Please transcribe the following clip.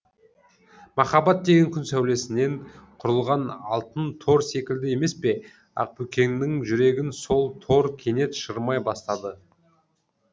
махаббат деген күн сәулесінен құрылған алтын тор секілді емес пе ақбөкеннің жүрегін сол тор кенет шырмай бастады